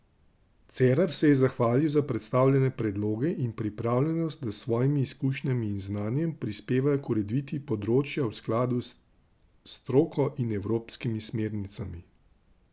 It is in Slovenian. Cerar se je zahvalil za predstavljene predloge in pripravljenost, da s svojimi izkušnjami in znanjem prispevajo k ureditvi področja v skladu s stroko in evropskimi smernicami.